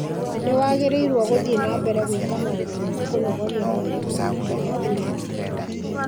Nĩ wagĩrĩirũo gũthiĩ na mbere gwĩka maũndũ ma kũnogoria mwĩrĩ o na rĩrĩa ũrĩ na nda.